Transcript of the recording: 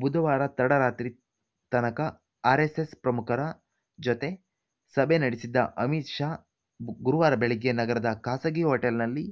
ಬುಧವಾರ ತಡರಾತ್ರಿ ತನಕ ಆರ್‌ಎಸ್‌ಎಸ್‌ ಪ್ರಮುಖರ ಜೊತೆ ಸಭೆ ನಡೆಸಿದ್ದ ಅಮಿತ್‌ ಶಾ ಗುರುವಾರ ಬೆಳಗ್ಗೆ ನಗರದ ಖಾಸಗಿ ಹೋಟೆಲ್‌ನಲ್ಲಿ